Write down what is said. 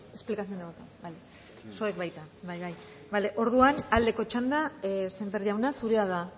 ez explicación de voto zuek baita bai bai bale orduan aldeko txanda sémper jauna zurea da